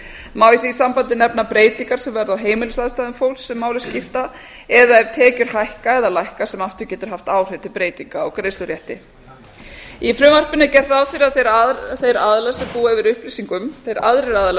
í því sambandi nefna breytingar sem verða á heimilisaðstæðum fólks sem máli skipta eða ef tekjur hækka eða lækka sem aftur getur haft áhrif til breytinga á greiðslurétti í frumvarpinu er gert ráð fyrir að þeir aðrir aðilar